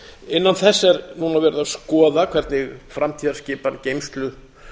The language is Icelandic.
innan þess er núna verið að skoða hvernig framtíðarskipan geymslu